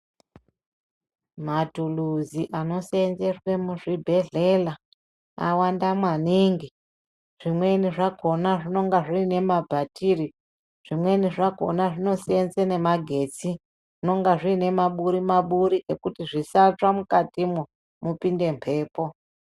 Maturuzi anosenzeswe muzvibhedhlera awanda maningi. Zvimweni zvakona zvinonga zviine mabhatiri, zvimweni zvakona zvinosenza ngemagetsi. Zvinonga zvine maburi-maburi ekuti zvisatsva mukatimwo mupinde mhepo.